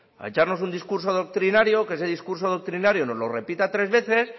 a echarnos un discurso doctrinario que ese discurso doctrinario nos lo repita tres veces